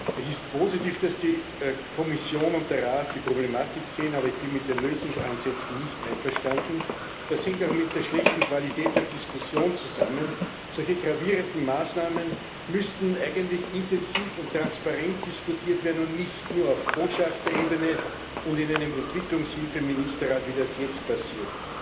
Es ist positiv, dass die Kommission und der Rat die Problematik sehen, aber ich bin mit den Lösungsansätzen nicht einverstanden. Das hängt auch mit der schlechten Qualität der Diskussion zusammen. Solche gravierenden Maßnahmen müssten eigentlich intensiv und transparent diskutiert werden und nicht nur auf Botschafterebene und in einem Entwicklungshilfe Ministerrat, wie das jetzt passiert.